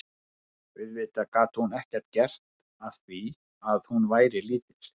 Auðvitað gat hún ekkert gert að því að hún væri lítil.